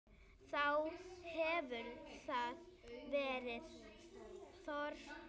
Þá hefur þar verið þorp.